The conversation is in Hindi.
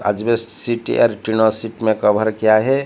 आज west city or trailer city मे कवर किया है।